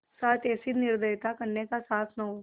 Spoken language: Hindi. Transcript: साथ ऐसी निर्दयता करने का साहस न हो